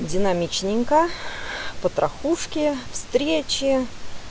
динамичненько потрахушки встречи